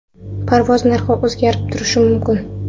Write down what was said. Parvoz narxi o‘zgarib turishi mumkin.